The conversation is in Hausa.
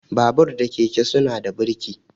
Babur da keke suna da burki.